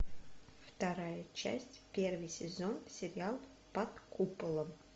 вторая часть первый сезон сериал под куполом